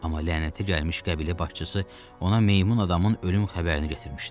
Amma lənətə gəlmiş qəbilə başçısı ona meymun adamın ölüm xəbərini gətirmişdi.